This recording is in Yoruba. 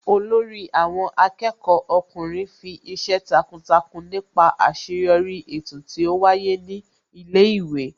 Olórí àwọn akẹ́kọ̀ọ́ ọkùnrin fi ìṣe takuntakun nípa àṣeyọrí eto tí ó wáyé ní ilé ìwé